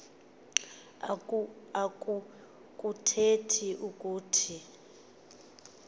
oku kuthetha ukuthi